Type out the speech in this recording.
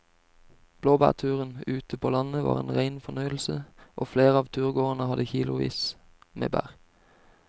Blåbærturen ute på landet var en rein fornøyelse og flere av turgåerene hadde kilosvis med bær.